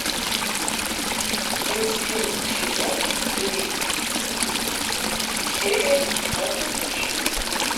инстинкт сезон три серия двадцать шесть